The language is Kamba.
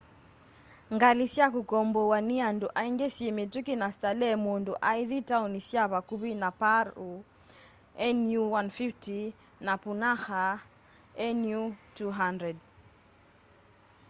ngali sya kukombowa ni andũ aingi syi mituki na stalehe mundu aithi taoni sya vakũvi ta paru nu 150 na punakha nu 200